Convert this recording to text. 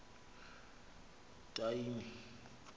etyhini